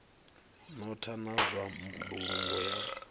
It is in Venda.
notha na zwa mbulungo ya